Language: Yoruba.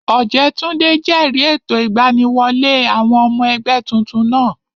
Ọ̀jẹ́túndé jẹ̀rìí ètò ìgbaniwọlé àwọn ọmọ ẹgbẹ́ tuntun náà